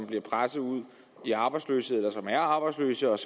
bliver presset ud i arbejdsløshed eller som er arbejdsløse og